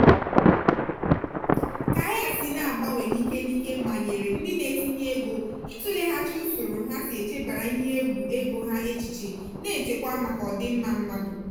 ka ahịa si agbanwe n'ike n'ike manyere ndị na-etinye ego ịtụleghachi usoro ha si echebara ihe egwu ego ha echiche na-echekwa maka ọdịmma mmadụ.